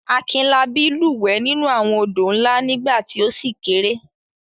Akinlabí lúwẹ̀ẹ́ nínú àwọn odò ńlá nígbà tí ó ṣì kéré.